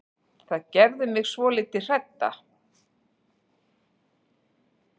Það gerir mig svolítið hrædda.